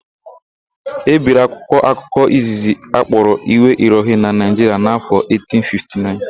E biri akwụkwọ akụkọ izizi akpọrọ Iwe Irohin na Naịjiria n'áfọ̀ 1859.